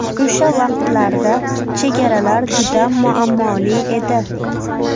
O‘sha vaqtlarda chegaralar juda muammoli edi.